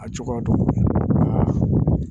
A cogoya don a la